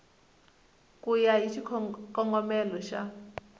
ku ya hi xikongomelo xa